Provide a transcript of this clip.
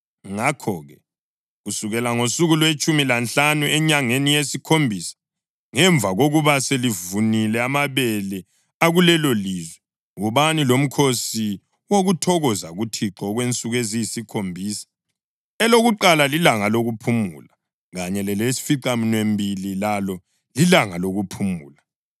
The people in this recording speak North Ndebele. Ngakho-ke, kusukela ngosuku lwetshumi lanhlanu enyangeni yesikhombisa, ngemva kokuba selivunile amabele akulelolizwe, wobani lomkhosi wokuthokoza kuThixo okwensuku eziyisikhombisa. Elokuqala lilanga lokuphumula, kanye lelesificaminwembili lalo lilanga lokuphumula.